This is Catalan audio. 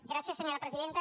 gràcies senyora presidenta